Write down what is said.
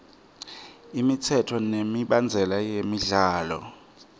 imitsetfo nemibandzela yemidlalo